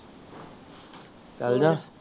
ਚਲਜਾ